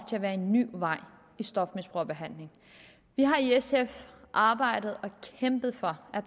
en ny vej i stofmisbrugerbehandlingen vi har i sf arbejdet og kæmpet for at